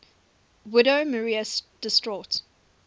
widow maria distraught